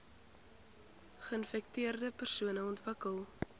geinfekteerde persone ontwikkel